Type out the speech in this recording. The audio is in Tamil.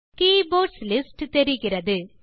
கே போர்ட்ஸ் லிஸ்ட் தெரிகிறது